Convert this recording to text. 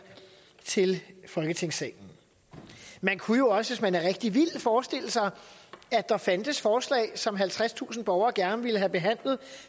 til folketingssalen man kunne jo også hvis man er rigtig vild forestille sig at der fandtes forslag som halvtredstusind borgere gerne ville have behandlet